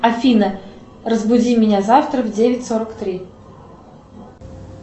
афина разбуди меня завтра в девять сорок три